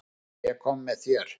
Ég kom með þér.